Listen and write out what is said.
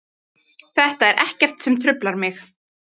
Þetta er ekkert sem truflar mig.